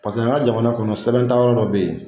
Paseke an ka jamana kɔnɔ sɛbɛn tayɔrɔ dɔ bɛ yen.